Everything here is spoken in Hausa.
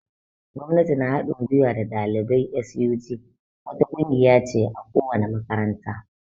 Gwamnati na hadin gwiwa na dalibai (SUG) wata ƙungiya ce a ko wani makaranta.